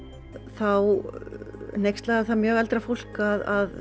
þá hneykslaði það mjög eldra fólk að